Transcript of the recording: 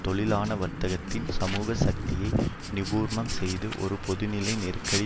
தொழிலாள வர்த்தகத்தின் சமூக சக்தியை நிபுர்ணம் செய்து ஒரு பொதுநிலை நெருக்கடி